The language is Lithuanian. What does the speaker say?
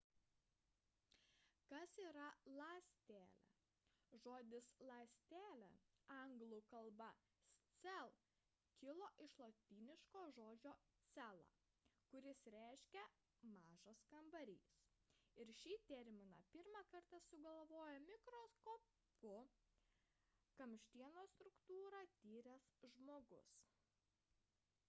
kas yra ląstelė? žodis ląstelė angl. cell kilo iš lotyniško žodžio cella kuris reiškia mažas kambarys ir šį terminą pirmą kartą sugalvojo mikroskopu kamštienos struktūrą tyręs žmogus